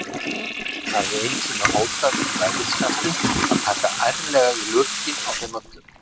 Hann hafði einu sinni hótað í bræðikasti að taka ærlega í lurginn á þeim öllum.